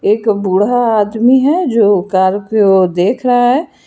एक बूढ़ा आदमी है जो कार की ओर देख रहा है।